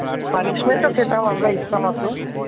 punishment ও খেতাম আমরা ইচ্ছামত।